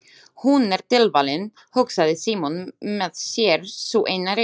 Hún er tilvalin, hugsaði Símon með sér, sú eina rétta.